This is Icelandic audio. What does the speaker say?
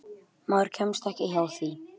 Maður kemst ekki hjá því.